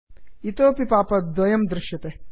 इतोपि पाप् अप् द्वयं दृश्यते